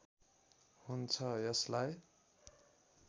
हुन्छ यसलाई